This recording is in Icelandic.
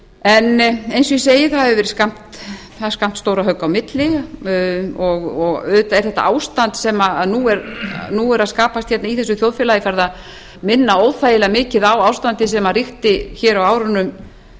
en eins og ég segi það er skammt stórra högga á milli og auðvitað er þetta ástand sem nú er að skapast í þessu þjóðfélagi farið að minna óþægilega mikið á ástandið sem ríkti á árunum nítján hundruð